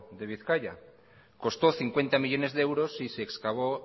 de bizkaia costó cincuenta millónes de euros y se excavó